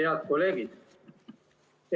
Head kolleegid!